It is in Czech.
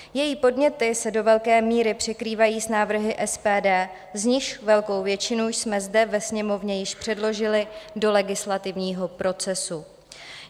Její podněty se do velké míry překrývají s návrhy SPD, z nichž velkou většinu jsme zde ve Sněmovně již předložili do legislativního procesu.